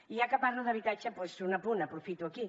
i ja que parlo d’habitatge doncs un apunt aprofito aquí